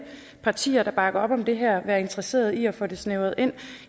partier der bakker op om det her være interesseret i at få det snævret ind